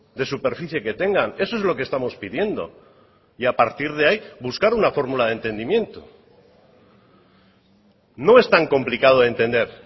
de superficie que tengan eso es lo que estamos pidiendo y a partir de ahí buscar una fórmula de entendimiento no es tan complicado de entender